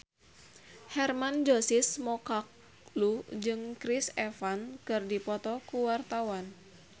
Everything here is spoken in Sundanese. Hermann Josis Mokalu jeung Chris Evans keur dipoto ku wartawan